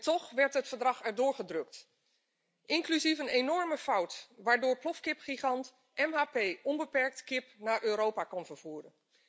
Toch werd het verdrag erdoor gedrukt, inclusief een enorme fout waardoor plofkipgigant MHP onbeperkt kip naar Europa kon vervoeren.